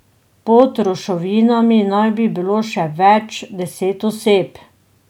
Pod ruševinami naj bi bilo še več deset oseb.